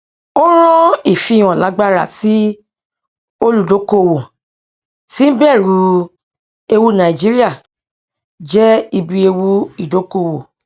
ó rán ìfihàn lágbara sí olùdókóòwò tí ń bẹrù ewu nàìjíríà jẹ ibi ewu ìdókóòwò